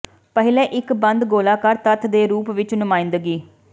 ਪਹਿਲੇ ਇੱਕ ਬੰਦ ਗੋਲਾਕਾਰ ਤੱਤ ਦੇ ਰੂਪ ਵਿੱਚ ਨੁਮਾਇੰਦਗੀ